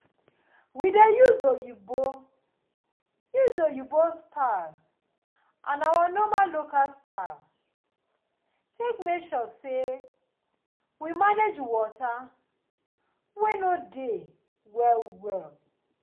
we dey use oyibo dey use oyibo style and our normal local style take make sure say we manage water wey no dey well well